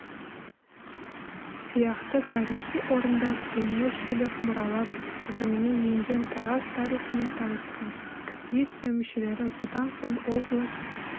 сияқты тарихи орындар дүниежүзілік мұралар тізіміне енген тараз тарихымен танысқан экспедиция мүшелері бұдан соң облыс